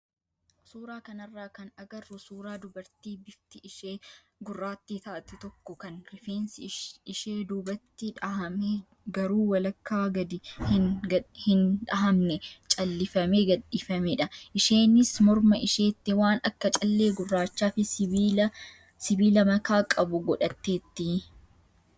suuraa kanarraa kan agarru suuraa dubartii bifti ishee gurraattii taate tokko kan rifeensi ishee duubatti dhahamee garuu walakkaa gadi hin dhahamne callifamee gadhiifamedha. Isheenis morma isheetti waan akka callee gurraachaa fi sibiila makaa qabu godhatteetti.